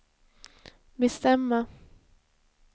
bestämma